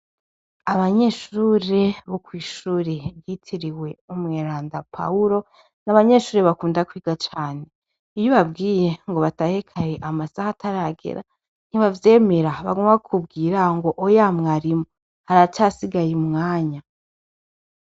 Abanyeshuri bokw'ishuri yitiriwe umweranda pahulo n'abanyeshuri bakunda kwiga cane iyo babwiye ngo batahekaye amasaha ataragera ntibavyemera bagumwa kubwira ngo oya mwarimu aracasigaye imwanya.